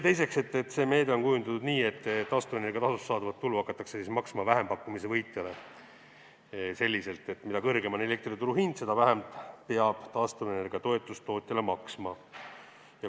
Teiseks, see meede on kujundatud nii, et taastuvenergia tasust saadavat tulu hakatakse maksma vähempakkumise võitjale selliselt, et mida kõrgem on elektri turuhind, seda vähem peab taastuvenergia toetust tootjale maksma.